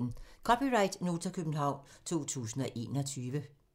(c) Nota, København 2021